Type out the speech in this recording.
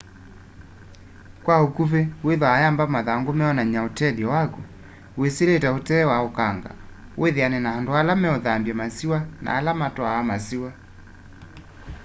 kwa ukuvi wiithwa uyamba mathangũ meonany'a ũtethyo wakũ wĩsĩlĩte utee wa ũkanga wĩthĩane na andũ ale meĩthambya masĩwa na ala matwaa masĩwa